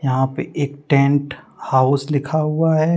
यहां पे एक टेंट हाउस लिखा हुआ है।